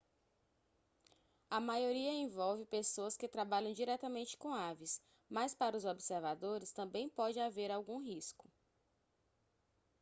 a maioria envolve pessoas que trabalham diretamente com aves mas para os observadores também pode haver algum risco